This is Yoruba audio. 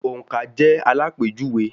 Òǹkà jẹ́ àlápéjùwe.